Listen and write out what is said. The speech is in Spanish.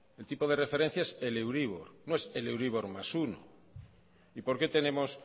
el tipo de referencia es el euribor no es el euribor más uno por qué tenemos